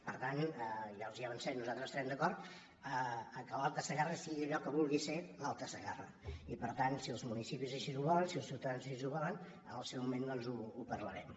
per tant ja els ho avancem nosaltres estarem d’acord que l’alta segarra sigui allò que vulgui ser l’alta segarra i per tant si els municipis així ho volen si els ciutadans així ho volen en el seu moment doncs ho parlarem